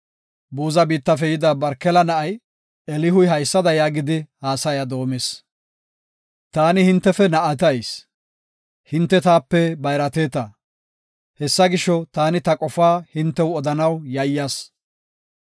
Buza biittafe yida Barkela na7ay Elihuy haysada yaagidi haasaya doomis. “Taani hintefe na7atayis; hinte taape bayrateta; Hessa gisho, taani ta qofaa hintew odanaw yayyas.